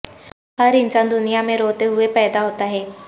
ہر انسان دنیا میں روتے ہوئے پیدا ہوتا ہے